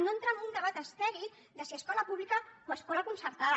no entrar en un debat estèril de si escola pública o escola concertada